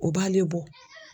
O b'ale bɔ.